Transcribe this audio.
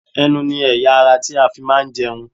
Ẹnu ni ẹ̀yà - ara tí a fi máa ń jẹun.